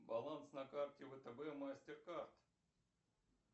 баланс на карте втб мастеркард